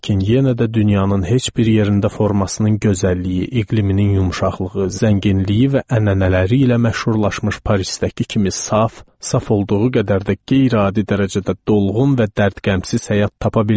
Lakin yenə də dünyanın heç bir yerində formasının gözəlliyi, iqliminin yumşaqlığı, zənginliyi və ənənələri ilə məşhurlaşmış Parisdəki kimi saf, saf olduğu qədər də qeyri-adi dərəcədə dolğun və dərd-qəmsiz həyat tapa bilməzdiniz.